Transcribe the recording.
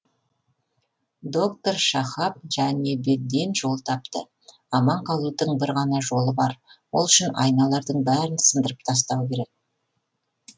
доктор шахаб жәнабеддин жол тапты аман қалудың бір ғана жолы бар ол үшін айналардың бәрін сындырып тастау керек